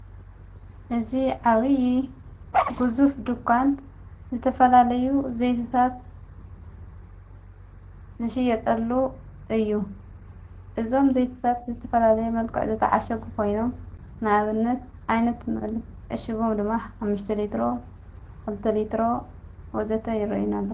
እዝ ዓዊዪ ግዙፍ ዱኳን ዘተፈላለዩ ዘይትታት ዝሽየጠሉ እዩ እዞም ዘይትታት ብዝተፈላለየ መልቃዕ ዘተዓሸጉ ኾይኖም ናበነት ኣይነት ንእልእሽቦም ድማ ሓሽተሌሮ ዕልተሌሮ ወዘተ ይረአዩናለው።